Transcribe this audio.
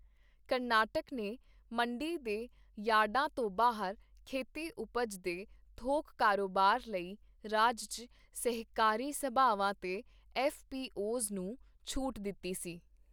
ਕਰਨਾਟਕ ਨੇ ਮੰਡੀ ਦੇ ਯਾਰਡਾਂ ਤੋਂ ਬਾਹਰ ਖੇਤੀ ਉਪਜ ਦੇ ਥੋਕ ਕਾਰੋਬਾਰ ਲਈ ਰਾਜ ਚ ਸਹਿਕਾਰੀ ਸਭਾਵਾਂ ਤੇ ਐੱਫ਼ ਪੀ ਓ ਜ਼ ਨੂੰ ਛੋਟ ਦਿੱਤੀ ਸੀ